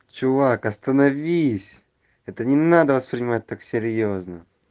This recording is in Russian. чувак остановись это не надо воспринимать так серьёзно